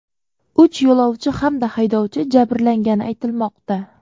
Uch yo‘lovchi hamda haydovchi jabrlangani aytilmoqda.